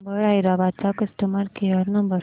Uber Hyderabad चा customer care number